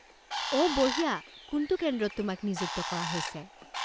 অঁ বঢ়িয়া! কোনটো কেন্দ্ৰত তোমাক নিযুক্ত কৰা হৈছে?